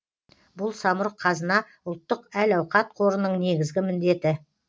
бұл самұрық қазына ұлттық әл ауқат қорының негізгі міндеті